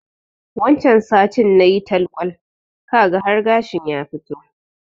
Wancan satin nayi talkwal, kaga har gashin ya fito.